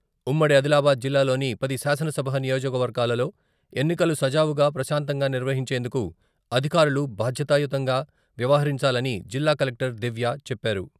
ఉమ్మడి ఆదిలాబాద్ జిల్లాలోని పది శాసనసభ నియోజకవర్గాలలో ఎన్నికలు సజావుగా ప్రశాంతంగా నిర్వహించేందుకు అధికారులు బాధ్యతాయుతంగా వ్యవహరించాలని జిల్లా కలెక్టర్ దివ్య చెప్పారు.